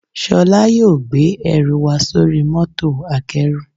Sholá yóò gbé ẹrù wa sóri mọ́tò akẹ́rù